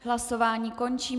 Hlasování končím.